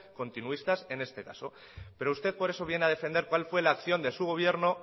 continuistas en este caso pero usted por eso viene a defender cual fue la acción de su gobierno